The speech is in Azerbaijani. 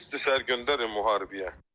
Qol çəkirsən, səhər göndərək müharibəyə.